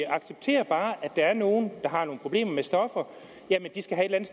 accepterer bare at der er nogle der har nogle problemer med stoffer de skal have et